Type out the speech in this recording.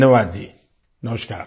धन्यवाद जी नमस्कार